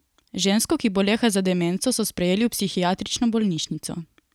Žensko, ki boleha za demenco, so sprejeli v psihiatrično bolnišnico.